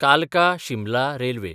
कालका-शिमला railway